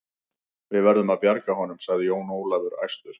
Við verðum að bjarga honum, sagði Jón Ólafur æstur.